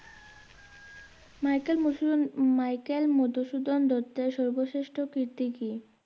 Michael Madhusudan Michael Madhusudan দত্তের সর্বশ্রেষ্ঠ কীর্তি কী?